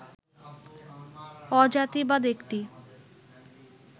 অজাতিবাদ একটি